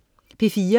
P4: